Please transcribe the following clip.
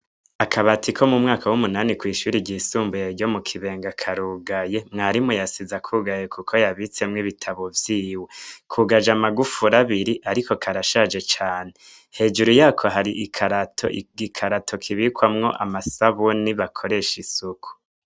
Akabati ko mumwaka umunani kwishure ry'isumbuye ryo mu Kibenga karugaye, mwarimu yasize akugaye kuko yabitsemwo ibitabo vyiwe kugaje amagufuri abiri ariko karashaje cane, hejuru yako hari igikarato kibikwamwo amasabuni bakoresha isuku.